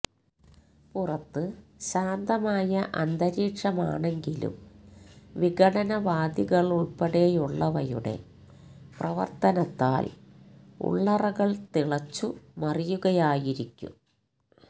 പുറത്ത് ശാന്തമായ അന്തരീക്ഷമാണെങ്കിലും വിഘടനവാദികളുള്പ്പെടെയുള്ളവയുടെ പ്രവര്ത്തനത്താല് ഉള്ളറകള് തിളച്ചു മറിയുകയായിരിക്കും